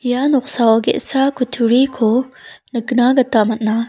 ia noksao ge·sa kutturiko nikna gita man·a.